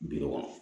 Bi kɔnɔntɔn